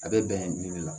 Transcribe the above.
A bɛ bɛn nin de ma